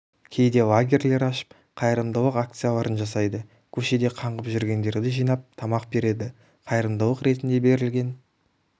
кейде лагерьлер ашып қайырымдылық акцияларын жасайды көшеде қаңғып жүргендерді жинап тамақ береді қайырымдылық ретінде берілген